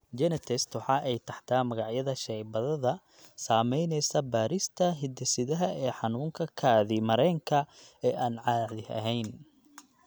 GeneTests waxa ay taxdaa magacyada shaybaadhada samaynaya baadhista hidde-sidaha ee xanuunka kaadi mareenka ee aan caadi ahayn.